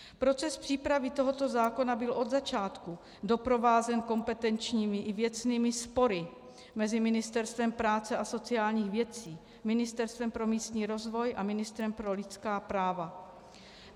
Proces přípravy tohoto zákona byl od začátku doprovázen kompetenčními i věcnými spory mezi Ministerstvem práce a sociálních věcí, Ministerstvem pro místní rozvoj a ministrem pro lidská práva.